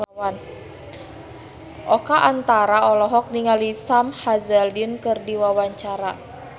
Oka Antara olohok ningali Sam Hazeldine keur diwawancara